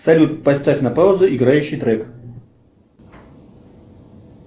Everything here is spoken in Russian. салют поставь на паузу играющий трек